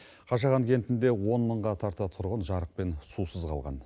қашаған кентінде он мыңға тарта тұрғын жарық пен сусыз қалған